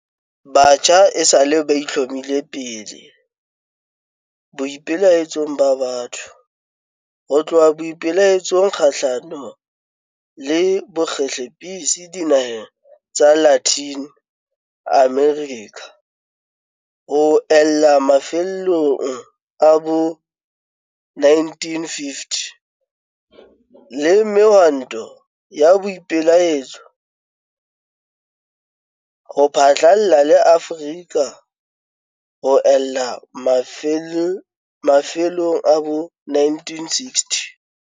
Batjha esale ba itlhomme pele boipelaetsong ba batho, ho tloha boipelaetsong kgahlano le bokgehlepetsi dinaheng tsa Latin America ho ella mafelong a bo 1950, le mehwantong ya boipelaetso ho phatlalla le Afrika ho ella mafelong a bo 1960.